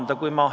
Aitäh!